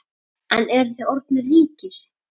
En eruð þið orðnir ríkir?